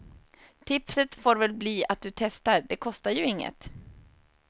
Tipset får väl bli att du testar, det kostar ju inget.